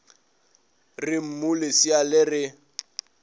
re mmu lesea le re